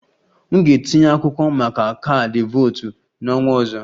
M ga-etinye akwụkwọ maka kaadị votu n'ọnwa ọzọ